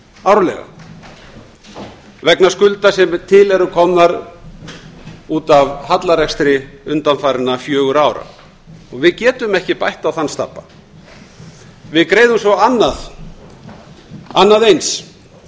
árlega vegna skulda sem til eru komnar út af hallarekstri undanfarinna fjögurra ára og við getum ekki bætt á þann stabba við greiðum svo annað eins